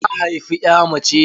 Ta haifi ƴa mace.